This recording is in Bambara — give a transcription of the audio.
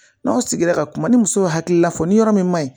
N'aw sigira ka kuma ni musow ye hakili la fɔ ni yɔrɔ min man ɲi